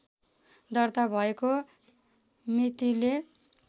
दर्ता भएको मितिले